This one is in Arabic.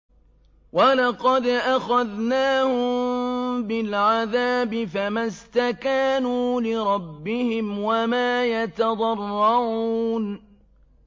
وَلَقَدْ أَخَذْنَاهُم بِالْعَذَابِ فَمَا اسْتَكَانُوا لِرَبِّهِمْ وَمَا يَتَضَرَّعُونَ